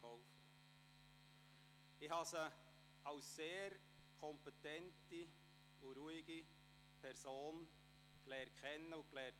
Ich habe sie als sehr kompetente und ruhige Person kennen und schätzen gelernt.